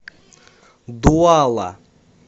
дуала